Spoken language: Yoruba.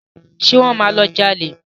Ṣé wọ́n máa lọ jalè?